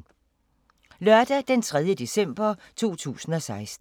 Lørdag d. 3. december 2016